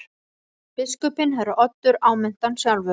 Biskupinn herra Oddur áminnti hann sjálfur.